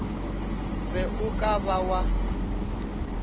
be o ka ba wa